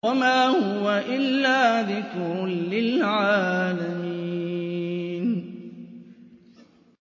وَمَا هُوَ إِلَّا ذِكْرٌ لِّلْعَالَمِينَ